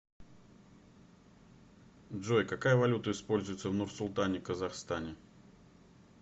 джой какая валюта используется в нурсултане казахстане